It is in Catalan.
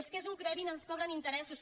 és que és un crèdit ens cobren interessos